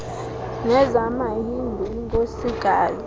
nezama hindu inkosikazi